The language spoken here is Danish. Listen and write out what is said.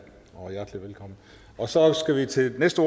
og hjertelig velkommen og så skal vi til næste